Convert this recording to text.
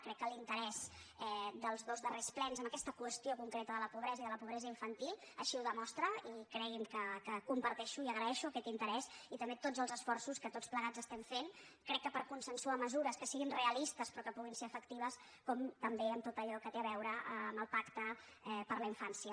crec que l’interès dels dos darrers plens en aquesta qüestió concreta de la pobre·sa i de la pobresa infantil així ho demostra i cregui’m que comparteixo i li agraeixo aquest interès i també tots els esforços que tots plegats estem fent crec per consensuar mesures que siguin realistes però que pu·guin ser efectives com també en tot allò que té a veu·re amb el pacte per a la infància